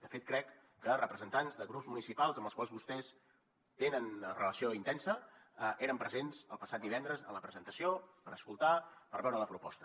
de fet crec que representants de grups municipals amb els quals vostès tenen relació intensa eren presents el passat divendres en la presentació per escoltar per veure la proposta